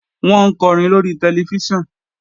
Wọ́n ń kọrin lóri tẹlifíṣàn